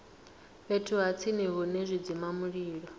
fhethu ha tsini hune zwidzimamulilo